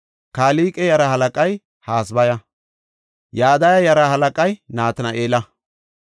Kelqe yaraa halaqay Hasabaya. Yadaya yaraa halaqay Natina7eela.